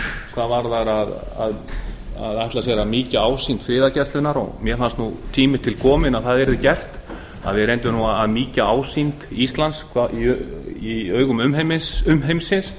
hvað varðar að ætla sér að mýkja ásýnd friðargæslunnar mér fannst nú tími til kominn að það yrði gert að við reyndum nú að mýkja ásýnd íslands í augum umheimsins